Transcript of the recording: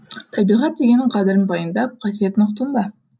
табиғат дегеннің қадірін пайымдап қасиетін ұқтың ба